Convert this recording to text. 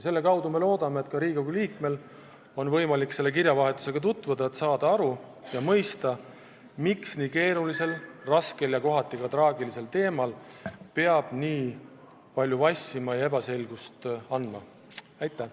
Me loodame, et ka Riigikogu liikmetel on võimalik selle kirjavahetusega tutvuda, et saada aru ja mõista, miks nii keerulisel, raskel ja kohati traagilisel teemal peab nii palju vassima ja ebaselgust tekitama.